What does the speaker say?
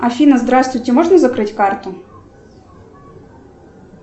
афина здравствуйте можно закрыть карту